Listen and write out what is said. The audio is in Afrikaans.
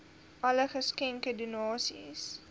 alle geskenke donasies